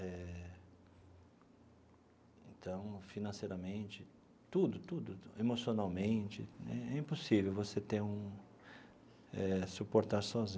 Eh então, financeiramente, tudo, tudo, emocionalmente né, é impossível você ter um eh suportar sozinho.